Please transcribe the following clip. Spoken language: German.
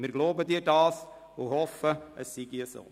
» Wir glauben Ihnen das und hoffen, es sei so.